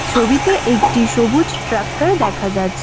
ছবিতে একটি সবুজ ট্রাক্টর দেখা যাচ্ছে।